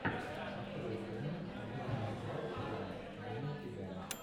открой фильмец джона лассетера вне себя